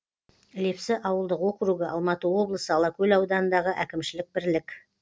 лепсі ауылдық округі алматы облысы алакөл ауданындағы әкімшілік бірлік